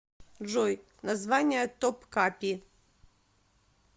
джой название топкапи